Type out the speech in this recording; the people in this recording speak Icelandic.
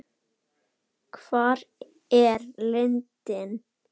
Hvar er lindin?